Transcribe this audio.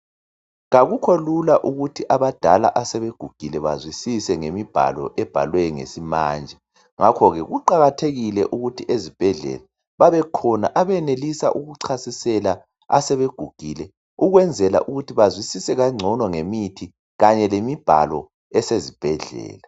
Akukho lula ukuthi abadala asebegugile bazwisise ngemibhalo ebhalwe isimanje ngakhoke kuqakathekile ukuthi ezibhedlela babekhona abenelisa ukuchasisela asebegugile ukwenzela ukuthi bazwisile kangcono ngemithi kanye lemibhalo esesibhedlela.